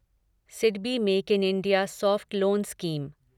SIDBI make in India soft loan scheme